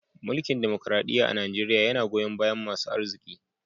Mulki'n dimokuradiyya a'Nijeriya yanna goyon baya masun aziki.